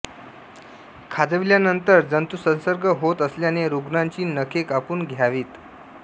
खाजविल्यानंतर जंतुसंसर्ग होत असल्याने रुग्णाची नखे कापून घावीत